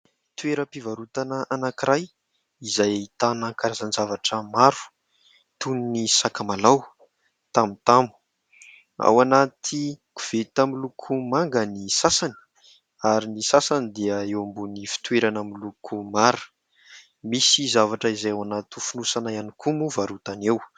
Toeram-pivarotana anankiray izay ahitana karazan-javatra maro toy ny sakamalao, tamotamo. Ao anaty koveta miloko manga ny sasany ary ny sasany dia eo ambony fitoerana miloko mara, misy zavatra izay ao anaty fonosana ihany koa moa varotana eo.